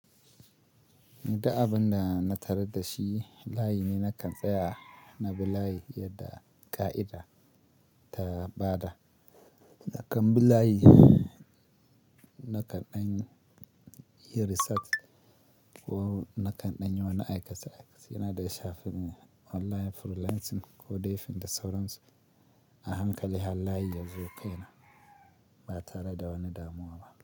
Da abun da na tared da shi layi ne nakan tsaya na bi layi yadda ƙa'ida ta ba da. Nakan bi layi, nakan dan yi research ko nakan dan yi wani aikace-aikace na da ya shafi online freelancing ko dai fim da sauransu. A hankali har layi ya zo kai na, ba tare da wani damuwa ba.